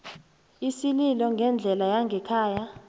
isililo ngendlela yangekhaya